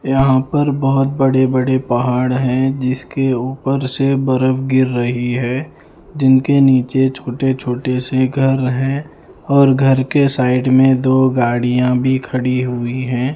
यहां पर बहुत बड़े बड़े पहाड़ हैं जिसके ऊपर से बर्फ गिर रही है जिनके नीचे छोटे छोटे से घर हैं और घर के साइड में दो गाड़ियां भी खड़ी हुई है।